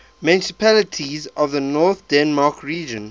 municipalities of north denmark region